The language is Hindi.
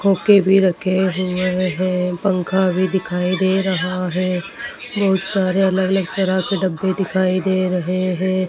फुके भी रखे हुए है। पंखा भी दिखाई दे रहा है। बहुत सारे अलग-अलग तरह के डब्बे दिखाई दे रहे हैं।